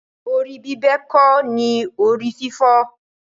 Decapitation is not the antedote for headache.